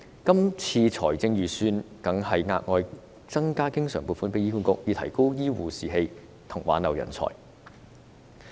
今年的預算案更額外增加醫管局的經常撥款，以提高醫護士氣及挽留人才。